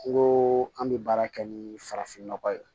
N ko an bɛ baara kɛ ni farafinnɔgɔ ye